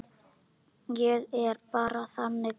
Ég er bara þannig gaur.